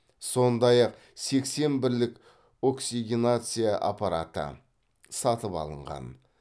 сондай ақ сексен бірлік оксигенация аппараты сатып алынған